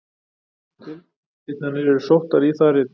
Tilvitnanir eru sóttar í það rit.